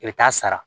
I bɛ taa sara